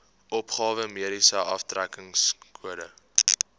opgawe mediese aftrekkingskode